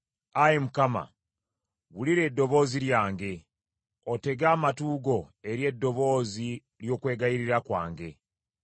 Ayi Mukama, wulira eddoboozi lyange; otege amatu go eri eddoboozi ly’okwegayirira kwange.